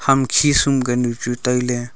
ema khisum kanu chu tailey.